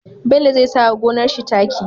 Bello zai sawa gonar shi taki